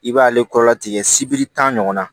I b'ale kɔrɔla tigɛ sibiri tan ɲɔgɔn na